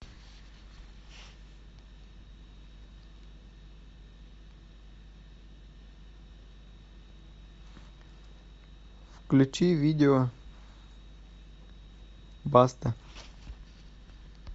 включи видео баста